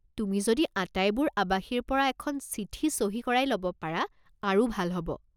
তুমি যদি আটাইবোৰ আৱাসীৰ পৰা এখন চিঠি চহী কৰাই ল'ব পাৰা আৰু ভাল হ'ব।